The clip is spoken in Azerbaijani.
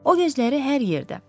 O gözləri hər yerdə.